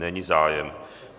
Není zájem.